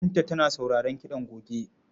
Binta tana sauraron kiɗan goge.